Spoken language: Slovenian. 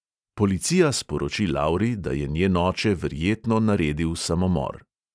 Policija sporoči lauri, da je njen oče verjetno naredil samomor.